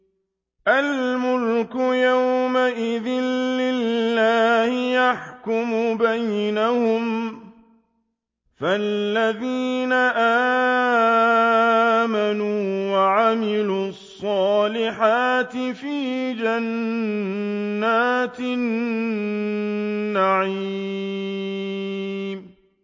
الْمُلْكُ يَوْمَئِذٍ لِّلَّهِ يَحْكُمُ بَيْنَهُمْ ۚ فَالَّذِينَ آمَنُوا وَعَمِلُوا الصَّالِحَاتِ فِي جَنَّاتِ النَّعِيمِ